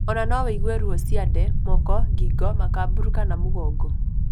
Ona no wĩigue ruo ciande, moko, gingo, Makaburu kana mũgongo